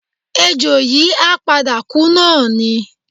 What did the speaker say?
Ejò yìí á padà kú náà ni